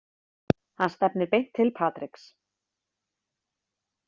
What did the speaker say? Hann stefnir beint til Patriks.